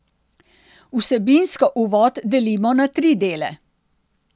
Vsebinsko Uvod delimo na tri dele.